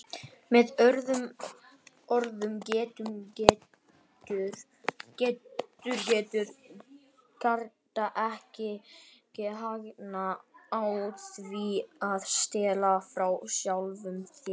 Með öðrum orðum getur getur gerandinn ekki hagnast á því að stela frá sjálfum sér.